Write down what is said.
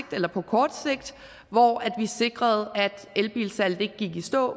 eller på kort sigt hvor vi sikrede at elbilsalget ikke gik i stå